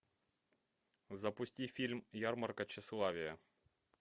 запусти фильм ярмарка тщеславия